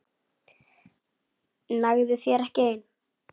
Nægði þér ekki ein?